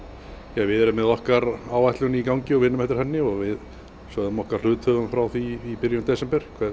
við erum með okkar áætlun í gangi og vinnum eftir henni og við sögðum okkar hluthöfum frá því í byrjun desember